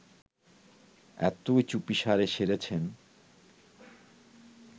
এতই চুপিসারে সেরেছেন